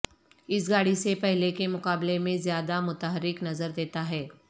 اس گاڑی سے پہلے کے مقابلے میں زیادہ متحرک نظر دیتا ہے